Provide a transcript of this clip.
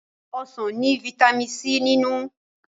Ọsán ní vitamin C nínú.